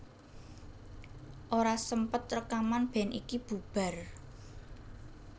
Ora sempet rekaman band iki bubar